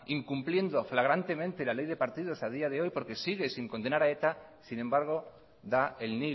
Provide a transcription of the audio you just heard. incumpliendo flagrantemente la ley de partidos a día de hoy porque siguen sin condenar a eta sin embargo da el